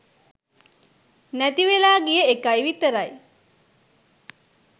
නැතිවෙලා ගිය එකයි විතරයි.